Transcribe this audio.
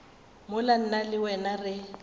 mola nna le wena re